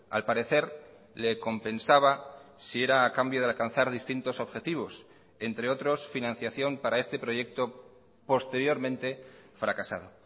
al parecer le compensaba si era a cambio de alcanzar distintos objetivos entre otros financiación para este proyecto posteriormente fracasado